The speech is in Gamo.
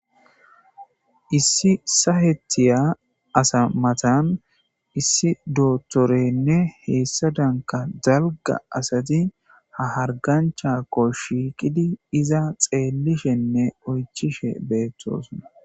Issi sahetiya asa matan issi doozorenne hessadanka dalgga asati ha hargganchchako shiiqidi iza xeelishenne oychchishe beetosona.